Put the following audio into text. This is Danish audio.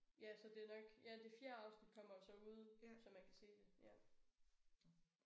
Ja så det er nok ja det fjerde afsnit kommer jo så ud så man kan se det ja